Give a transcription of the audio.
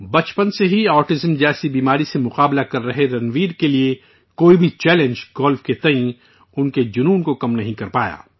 بچپن سے ہی سے آٹیزم میں مبتلا رنویر کے لیے کوئی بھی چنوتی گولف کو لے کر ان کے جنون کو کم نہیں کر پائی